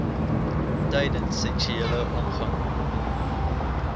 tydens seksuele omgang